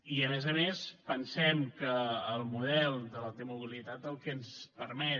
i a més a més pensem que el model de la t mobilitat el que ens permet